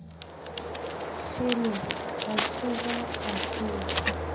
kgele a tsoha a tlola